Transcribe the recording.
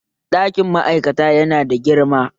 Ɗakin ma'aikata yana da girma